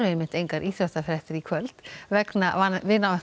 engar íþróttafréttir í kvöld vegna